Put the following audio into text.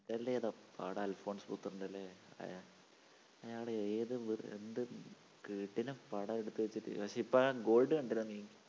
അല്ലേ പടം അൽഫോൻസ് പുത്രൻറ അല്ലേ? അയാഅയാള്‍ ഏത് എന്ത് കിടിലൻ പടം എടുത്തുവച്ചിട്ട് പക്ഷെ ഇപ്പോ ആ gold കണ്ടിരുന്നോ നീ?